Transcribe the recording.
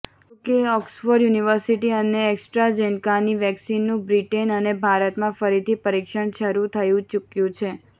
જોકે Oxford university અને એસ્ટ્રાઝેનકાની વેક્સિનનું બ્રિટન અને ભારતમાં ફરીથી પરીક્ષણ શરૂ થઈ ચૂક્યું છે